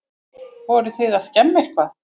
Voruð þið að skemma eitthvað?